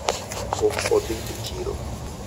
pok odhi e chiro